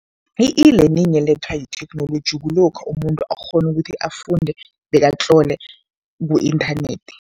I-e-learning elethwa yitheknoloji kulokha umuntu akghone ukuthi afunde bekatlole ku-inthanethi.